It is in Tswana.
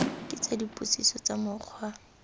ke tsa dipotsiso tsa mokgwa